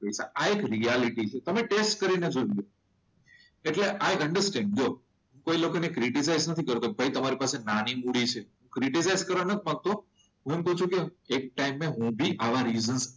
આ એક રિયાલિટી છે, તમે ટેસ્ટ કરીને જોજો. એટલે આઈ અન્ડરસ્ટેન્ડ. જો એ લોકોને ક્રિટીસાઇઝ નથી કરતો કે ભાઈ એ લોકો પાસે નાની મૂડી છે ક્રિટીસાઇઝ કરતો મતલબ એક ટાઈમે હું ભી આવા રિઝન્સ,